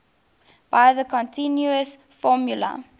by the continuous formula